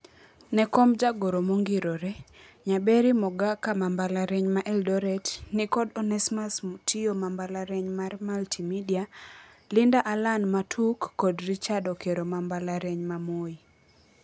Ne komb jagoro mong'irore, Nyaberi Mogaka ma mbalariany ma Eldoret ni kod Onesmus Mutio ma mbalariany mar Multi-Media, Linda Allan ma TUK kod Richard Okero ma mbalariany ma Moi.